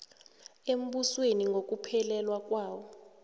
embusweni ngokuphelela kwawo